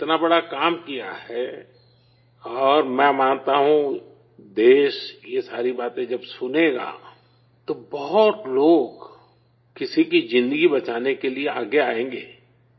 آپ نے اتنا بڑا کام کیا ہے اور میں مانتا ہوں، ملک یہ ساری باتیں جب سنے گا تو بہت لوگ کسی کی زندگی بچانے کے لیے آگے آئیں گے